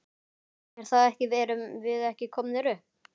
Er það ekki erum við ekki komnir upp?